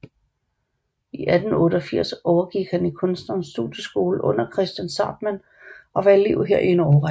I 1888 gik han over i Kunstnernes Studieskole under Kristian Zahrtmann og var elev her i en årrække